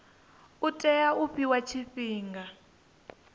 u tea u fhiwa tshifhinga